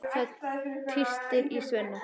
Það tístir í Svenna.